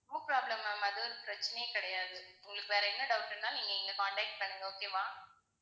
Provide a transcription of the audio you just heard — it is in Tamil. no problem ma'am அது ஒரு பிரச்சனையே கிடையாது. உங்களுக்கு வேற என்ன doubt னாலும் நீங்க எங்களை contact பண்ணுங்க okay வா